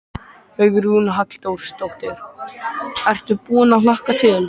Hugrún Halldórsdóttir: Ertu búinn að hlakka til?